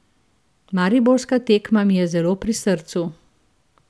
Mariborska tekma mi je zelo pri srcu.